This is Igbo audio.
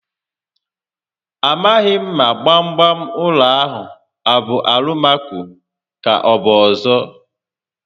Amaghi m ma gbam gbam ụlọ a abụ Alụmaco ka ọbụ ọzọ